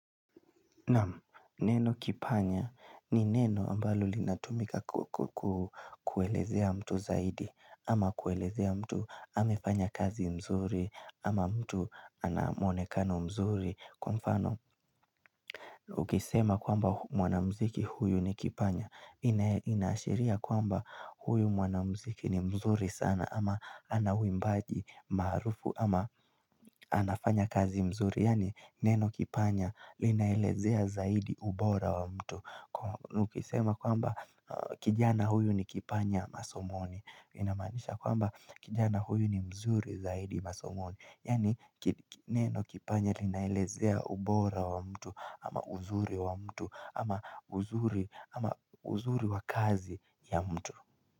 Neno kipanya ni neno ambalo linatumika ku ku kukuelezea mtu zaidi ama kuelezea mtu amefanya kazi mzuri ama mtu anamuonekano mzuri Kwa mfano ukisema kwamba mwanamziki huyu ni kipanya Inashiria kwamba huyu mwanamziki ni mzuri sana ama anawimbaji marufu ama anafanya kazi mzuri Yani neno kipanya linaelezea zaidi ubora wa mtu na ukisema kwamba kijana huyu ni kipanya masomoni Inamanisha kwamba kijana huyu ni mzuri zaidi masomoni Yani neno kipanya linaelezea ubora wa mtu ama uzuri wa mtu ama uzuri uzuri wa kazi ya mtu.